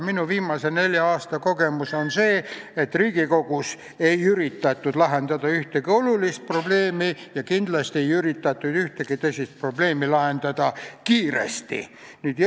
Minu viimase nelja aasta kogemus on see, et Riigikogus ei ole üritatud lahendada ühtegi olulist probleemi ja kindlasti ei ole üritatud ühtegi tõsist probleemi lahendada kiiresti.